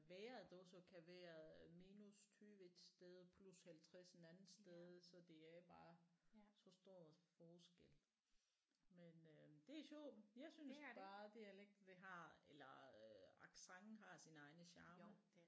Vejret også kan være minus 20 et sted og plus 50 en anden sted så det er bare så stor forskel men øh det er sjovt jeg synes bare dialekt det har eller øh accent har sin egne charme